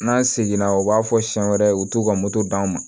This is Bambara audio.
N'an seginna o b'a fɔ siɲɛ wɛrɛ u t'u ka moto d'an ma